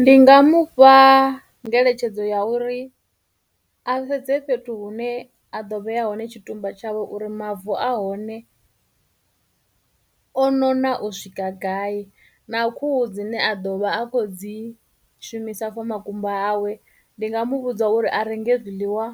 Ndi nga mu fha ngeletshedzo ya uri a sedze fhethu hune a ḓo vheya hone tshitumba tshawe uri mavu a hone o nona u swika gai, na khuhu dzine a ḓovha a khou dzi shumisa for makumba hawe, ndi nga mu vhudza uri a renge zwiḽiwa